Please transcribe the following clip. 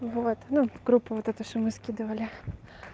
вот группа эта вот что мы скидывали